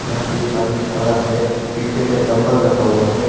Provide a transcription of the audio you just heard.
यहां पे एक आदमी खड़ा है पीछे में डंबल रखा हुआ है।